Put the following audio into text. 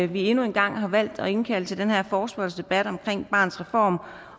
vi endnu en gang har valgt at indkalde til den her forespørgselsdebat omkring barnets reform